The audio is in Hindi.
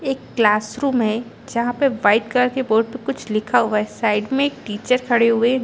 एक क्लास रूम है जहाँ पे वाइट कलर के बोर्ड पे कुछ लिखा हुआ है साइड में एक टीचर खड़े हुए है।